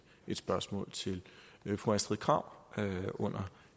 et spørgsmål til fru astrid krag under